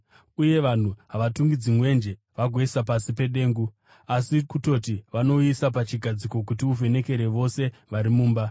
Uye vanhu havangatungidzi mwenje vagouisa pasi pedengu. Asi kutoti vanouisa pachigadziko kuti uvhenekere vose vari mumba.